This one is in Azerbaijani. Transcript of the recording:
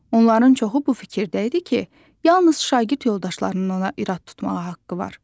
Onların çoxu bu fikirdə idi ki, yalnız şagird yoldaşlarının ona irad tutmağa haqqı var.